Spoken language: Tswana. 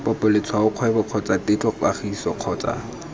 popo letshwaokgwebo kgotsa tetlokgatiso kgotsa